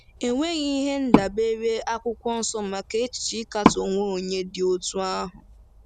E nweghị ihe ndabere Akwụkwọ Nsọ maka echiche ịkatọ onwe onye dị otú ahụ.